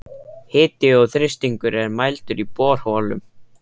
Hiti og þrýstingur er mældur í borholum.